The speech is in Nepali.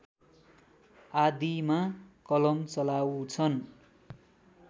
आदिमा कलम चलाउँछन्